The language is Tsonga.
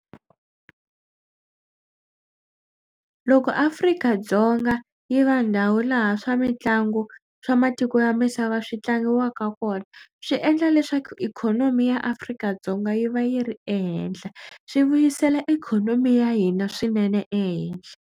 Loko Afrika-Dzonga yi va ndhawu laha swa mitlangu swa matiko ya misava swi tlangiwaka kona swi endla leswaku ikhonomi ya Afrika-Dzonga yi va yi ri ehenhla. Swi vuyisela ikhonomi ya hina swinene ehenhla.